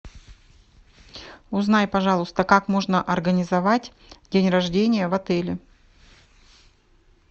узнай пожалуйста как можно организовать день рождения в отеле